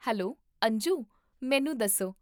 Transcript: hello Anju, ਮੈਨੂੰ ਦੱਸੋ